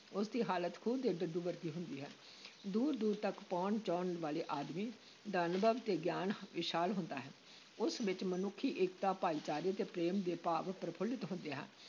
ਉਸ ਦੀ ਹਾਲਤ ਖੂਹ ਦੇ ਡੱਡੂ ਵਰਗੀ ਹੁੰਦੀ ਹੈ ਦੂਰ-ਦੂਰ ਤੱਕ ਭਉਣ-ਚਉਣ ਵਾਲੇ ਆਦਮੀ ਦਾ ਅਨੁਭਵ ਤੇ ਗਿਆਨ ਵਿਸ਼ਾਲ ਹੁੰਦਾ ਹੈ, ਉਸ ਵਿੱਚ ਮਨੁੱਖੀ-ਏਕਤਾ, ਭਾਈਚਾਰੇ ਤੇ ਪ੍ਰੇਮ ਦੇ ਭਾਵ ਪ੍ਰਫੁੱਲਤ ਹੁੰਦੇ ਹਨ,